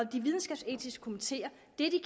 de videnskabsetiske komiteer